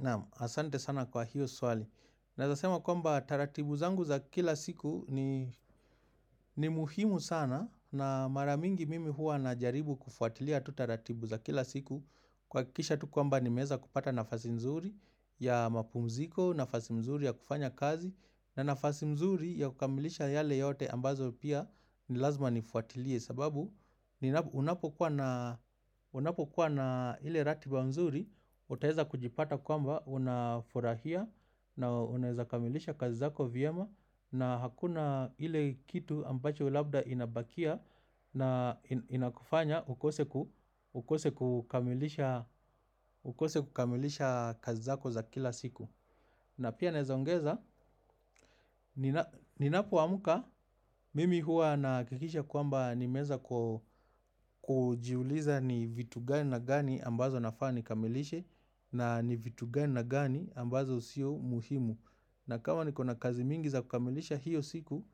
Naam, asante sana kwa hiyo swali. Naweza sema kwamba taratibu zangu za kila siku ni muhimu sana na mara mingi mimi huwa najaribu kufuatilia tu taratibu za kila siku. Kuhakikisha tu kwamba nimeweza kupata nafasi nzuri ya mapumziko, nafasi nzuri ya kufanya kazi na nafasi nzuri ya kukamilisha yale yote ambayo pia ni lazima nifuatilie. Sababu unapokuwa na ile ratiba nzuri utaweza kujipata kwamba unafurahia na unaweza kamilisha kazi zako vyema na hakuna ile kitu ambacho labda inabakia na inakufanya ukose kukamilisha kazi zako za kila siku na pia naweza ongeza, ninapoamka mimi hukikisha kwamba nimeweza kujiuliza ni vitu gani na gani ambazo nafaa nikamilishe na ni vitu gani na gani ambazo sio muhimu na kama ni kuna kazi mingi za kukamilisha hiyo siku